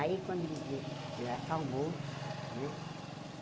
Aí quando ele viu, ele acalmou, né?